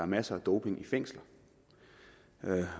masser af doping i fængsler